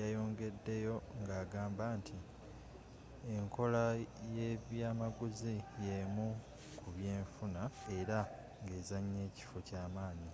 yayongedeyo ngagamba nti enkola yebyamaguzi yemu kubyenfuna era ngezanya ekifo kyamaanyi